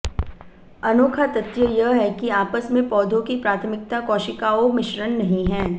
अनोखा तथ्य यह है कि आपस में पौधों की प्राथमिक कोशिकाओं मिश्रण नहीं है